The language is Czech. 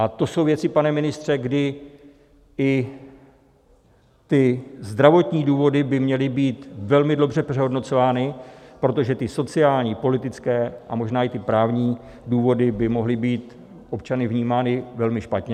A to jsou věci, pane ministře, kdy i ty zdravotní důvody by měly být velmi dobře přehodnocovány, protože ty sociální, politické a možná i ty právní důvody by mohly být občany vnímány velmi špatně.